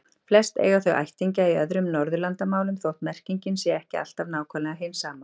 Flest eiga þau ættingja í öðrum Norðurlandamálum þótt merkingin sé ekki alltaf nákvæmlega hin sama.